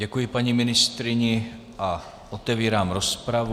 Děkuji paní ministryni a otevírám rozpravu.